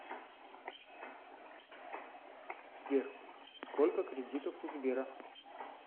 сбер сколько кредитов у сбера